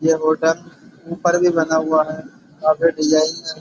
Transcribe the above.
यह होटल ऊपर भी बना हुआ है काफी डिज़ाइन में है।